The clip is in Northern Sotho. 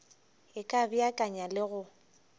e ka beakanya le go